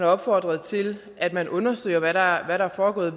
opfordrede til at man undersøger hvad der er foregået